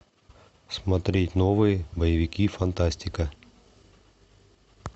смотреть новые боевики фантастика